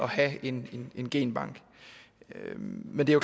have en en genbank men det er